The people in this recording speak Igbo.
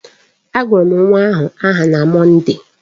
A gụrụ m nwa ahụ aha na Mọnde